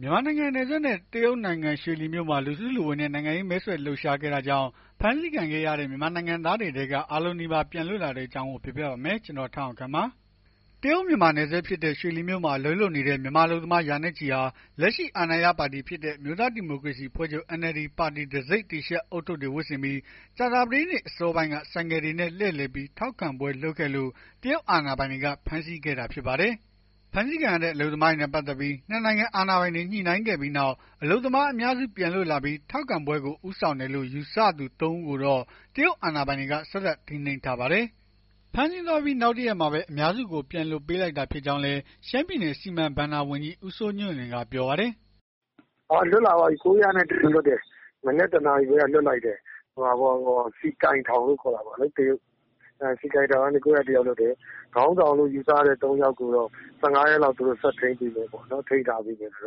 မြန်မာနိုင်ငံနဲ့နယ်စပ် တရုတ်နိုင်ငံ ရွှေလီမြို့မှာ လူစုလူဝေးနဲ့ နိုင်ငံရေးမဲဆွယ်လှုပ်ရှားခဲ့တာကြောင့် ဖမ်းဆီးခံခဲ့ရတဲ့ မြန်မာနိုင်ငံသားတွေထဲက အားလုံးနီးပါး ပြန်လွတ်လာတဲ့ အကြောင်းကို ကိုထက်အောင်ခန့် ပြောပြပါမယ်။ တရုတ်-မြန်မာ နယ်စပ်ဖြစ်တဲ့ ရွှေလီမြို့မှာ အလုပ်လုပ်နေတဲ့ မြန်မာအလုပ်သမား ရာနဲ့ချီဟာ လက်ရှိ အာဏာရ ပါတီဖြစ်တဲ့ အမျိုးသားဒီမိုကရေစီ အဖွဲ့ချုပ် NLD ပါတီတံဆိပ် တီရှပ် ဦးထုပ်တွေ ဝတ်ဆင်ပြီး ကြာသပတေးနေ့ အစောပိုင်းက ဆိုင်ကယ်တွေနဲ့ လှည့်လည်ပြီး ထောက်ခံပွဲလုပ်ခဲ့လို့ တရုတ်အာဏာပိုင်တွေက ဖမ်းဆီးခဲ့တာ ဖြစ်ပါတယ်။ ဖမ်းဆီးခံရတဲ့ အလုပ်သမားတွေနဲ့ ပတ်သက်ပြီး ၂ နိုင်ငံ အာဏာပိုင်တွေ ညှိနှိုင်းခဲ့ပြီးနောက် အလုပ်သမား အများစု ပြန်လွှတ်လာပြီး ထောက်ခံပွဲကို ဦးဆောင်တယ်လို့ ယူဆရသူ ၃ ဦးကိုတော့ တရုတ်အာဏာပိုင်တွေက ဆက်လက်ထိန်းသိမ်းထားပါတယ်။ ဖမ်းဆီးသွားပြီး နောက်တရက်မှာပဲ အများစုကို ပြန်လွှတ်ပေးလိုက်တာ ဖြစ်ကြောင်းလည်း ရှမ်းပြည်နယ် စီမံဘဏ္ဍာဝန်ကြီး ဦးစိုးညွန့်လွင်ကပြောပါတယ်။ “လွတ်လာပါပြီ ၉၀၁ ယောက်လွတ်တယ်။ မနက် ၁ နာရီခွဲက လွှတ်လိုက်တယ်။ စီကိုင်ထောင် လို့ခေါ်တာပေါ့။ စီကိုင်ထောင်ကနေ ၉၀၁ ယောက်လွတ်တယ်။ ခေါင်းဆောင်လို့ ယူဆရတဲ့ ၃ ယောက်ကိုတော့ ၁၅ ရက်လောက် ဆက်ထိန်းသိမ်းမယ်ပေါ့။ ဒါပေမယ့် လွ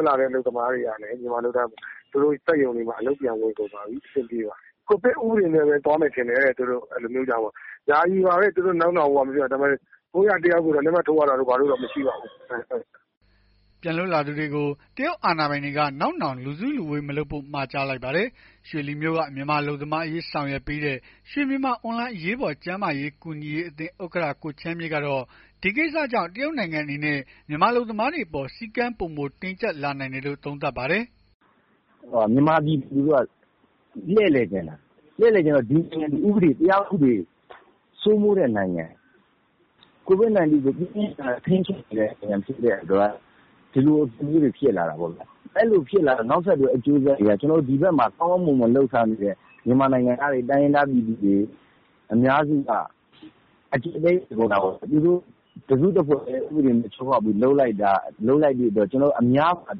တ်လာတဲ့ မြန်မာအလုပ်သမားတွေကလဲ သူတို့စက်ရုံ တွေမှာ အလုပ်ပြန်ဝင်ကုန်ပါပြီ။ အဆင်ပြေပါတယ်။ ကိုဗစ် ဥပဒေနဲ့ပဲ သွားမယ်ထင်တယ်။ ယာယီပါပဲ။ လက်မှတ်ထိုးရတာတို့ ဘာတို့တော့ မရှိပါဘူး။” ပြန်လွတ်လာသူတွေကို တရုတ်အာဏာပိုင်တွေက နောက်နောင် လူစုလူဝေး မလုပ်ဖို့ မှာကြားလိုက်ပါတယ်။ ရွှေလီမြို့က မြန်မာ အလုပ်သမားများအရေး ဆောင်ရွက်ပေးနေတဲ့ ရွှေမြန်မာ အွန်လိုင်း အရေးပေါ် ကျန်းမာရေး ကူညီရေးအသင်း ဥက္ကဌ ကိုချမ်းမြေ့ကတော့ ဒီကိစ္စကြောင့် တရုတ်နိုင်ငံအနေနဲ့ မြန်မာအလုပ်သမားတွေအပေါ် စည်းကမ်းပိုမို တင်းကျပ်လာနိုင်တယ်လို့ သုံးသပ်ပါတယ်။ “မြန်မာပြည်သူလူထုက လှည့်လည်ချင်တာ ဒီနိုင်ငံက တရားဥပဒေစိုးမိုးတဲ့နိုင်ငံ COVID-19 ကိုပြင်းပြင်း ထန်ထန် ထိန်းချုပ်နေတဲ့ နိုင်ငံဖြစ်တဲ့အတွက် ဒီလိုအဖြစ်မျိုးတွေ ဖြစ်လာတာပေါ့ဗျာ။ အဲ့လိုဖြစ်တာတော့ နောက်ဆက်တွဲ အကျိုးဆက်တွေက ဒီဘက်မှာ ကောင်းကောင်းမွန်မွန် မြန်မာနိုင်ငံသား တိုင်းရင်းသား ပြည်သူတွေ အကျပ်အတည်းဖြစ်ကုန်တာပေါ့။ သူတို့တစုတဖွဲ့တည်း ဥပဒေချိုးဖောက်ပြီး လုပ်လိုက်တဲ့အတွက် အများမှာ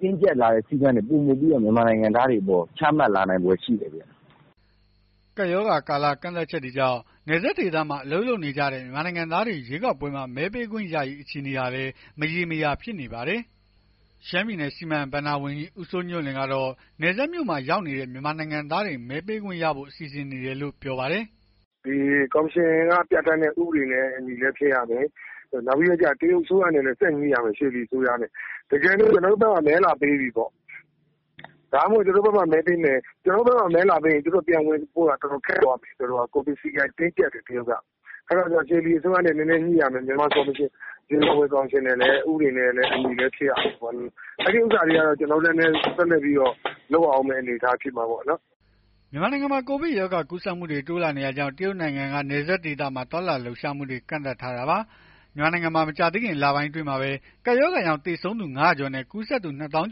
တင်းကျပ်လာနိုင်တဲ့စည်းကမ်းတွေ မြန်မာနိုင်ငံသားတွေအပေါ် ချမှတ်လာနိုင်ဖွယ်ရှိတယ်ခင်ဗျ။” ကပ်ရောဂါကာလ ကန့်သတ်ချက်တွေကြောင့် နယ်စပ်ဒေသမှာ အလုပ်လုပ်နေကြတဲ့ မြန်မာနိုင်ငံသားတွေ ရွေးကောက်ပွဲမှာ မဲပေးခွင့်ရရေး အခြေအနေဟာလည်း မရေမရာ ဖြစ်နေပါတယ်။ ရှမ်းပြည်နယ် စီမံဘဏ္ဍာဝန်ကြီး ဦးစိုးညွန့်လွင်ကတော့ နယ်စပ်မြို့မှာ ရောက်နေတဲ့ မြန်မာနိုင်ငံသားတွေ မဲပေးခွင့်ရဖို့ စီစဉ်နေတယ်လို့ “ကော်မရှင်က ပြဌာန်းတဲ့ ဥပဒေနဲ့အညီလည်းဖြစ်ရမယ်။ နောက်ပြီး တရုတ်အစိုးရနဲ့လည်း ဆက်ညှိရမယ်။ ရွှေလီအစိုးရနဲ့ တကယ်လို့ ကျွန်တော်တို့ဘက်မှာ မဲလာပေးပြီပေါ့။ မဲလာပေးပြီပေါ့ဆိုရင် သူတို့ ပြန်ဝင်ဖို့ရာ တော်တော်ခက်သွားမယ်။ ကိုဗစ်စည်းကမ်းတင်းကြပ်တယ် တရုတ်က အဲ့တော့ ရွှေလီအစိုးရနဲ့ နည်းနည်း ညှိရမယ်။ မြန်မာရွေးကောက်ပွဲကော်မရှင် ဥပဒေနဲ့အညီလည်း ဖြစ်ရမယ်။ အဲ့ဒါတွေကတော့ ဆက်လက်ပြီး လုပ်ရအုံးမယ့် အနေအထား ဖြစ်မှာပေါ့နော်။” မြန်မာနိုင်ငံမှာ ကိုဗစ်ကပ်ရောဂါ ကူးစက်မှုတွေ တိုးလာနေတာကြောင့် တရုတ်နိုင်ငံက နယ်စပ်ဒေသမှာ သွားလာလှုပ်ရှားမှုတွေ ကန့်သတ်ထားတာပါ။ မြန်မာနိုင်ငံမှာ မကြာသေးခင် လပိုင်းအတွင်းမှာပဲ ကပ်ရောဂါကြောင့် သေဆုံးသူ ၅၀၀ ကျော်နဲ့ ကူးစက်သူ ၂ သောင်း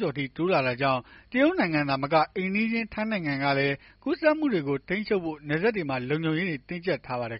ကျော်အထိ တိုးလာတာကြောင့် တရုတ်နိုင်ငံသာမက အိမ်နီးချင်း ထိုင်းနိုင်ငံကလည်း ကူးစက်မှုတွေကို ထိန်းချုပ်ဖို့ နယ်စပ်တွေမှာ လုံခြုံရေးတွေ တင်းကြပ်ထားပါတယ်